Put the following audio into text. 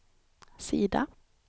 sida